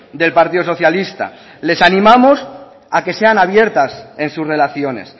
del partido socialista les animamos a que sean abiertas en sus relaciones